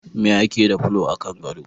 Me ake da fulo a kan gado?